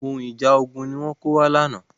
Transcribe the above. Ohun ìjà ogun ni wọ́n kó wá lánàá.